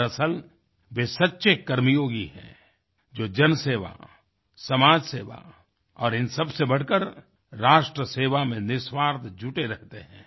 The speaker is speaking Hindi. दरअसल वे सच्चे कर्मयोगी हैं जो जनसेवा समाजसेवा और इन सबसे से बढ़कर राष्ट्रसेवा में निःस्वार्थ जुटे रहते हैं